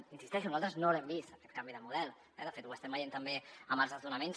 hi insisteixo nosaltres no l’hem vist aquest canvi de model eh de fet ho estem veient també amb els desnonaments